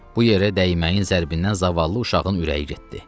Bu yerə dəyməyin zərbindən zavallı uşağın ürəyi getdi.